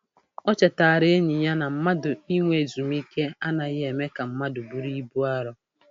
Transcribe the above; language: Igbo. O chetaara enyi ya na mmadụ inwe ezumike anaghị eme ka mmadụ bụrụ ibu arọ.